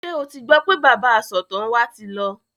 Ṣé o ti gbọ́ pé bàbá asọ̀tàn wa ti lọ?